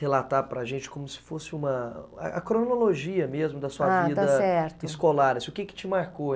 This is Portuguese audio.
relatar para gente como se fosse uma... a cronologia mesmo, a está certo, da sua vida escolar, o que que te marcou?